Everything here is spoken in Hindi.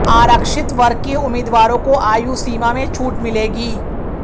आरक्षित वर्ग के उम्मीदवारों को आयु सीमा में छूट मिलेगी